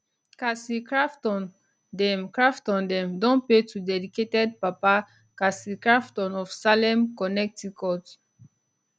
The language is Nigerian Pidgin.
casey crafton dem crafton dem don pay to dedicated papa casey crafton of salem connecticut